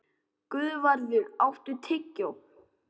Guðvarður, áttu tyggjó?